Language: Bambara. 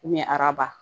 araba